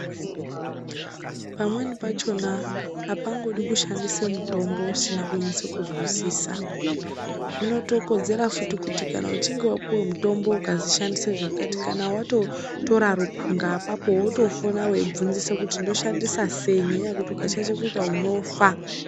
Pamweni pachona apangodi kushandisa mutombo usina kunyasa kuzwisisa zvinotokodzera futi kuti kana uchinge wapuwe mutombo ukazi shandisa zvakati kana watotora rukhunga apapo wotofona weibvunzisa kuti ndoshandisa sei ngenyaya yekuti ukashaisha kuita unofa.